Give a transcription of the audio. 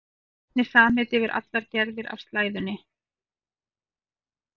Það er einnig samheiti yfir allar gerðir af slæðunni.